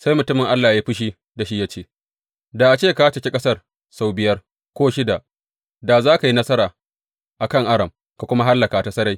Sai mutumin Allah ya yi fushi da shi ya ce, Da a ce ka caki ƙasar sau biyar ko shida; da za ka yi nasara a kan Aram ka kuma hallaka ta sarai.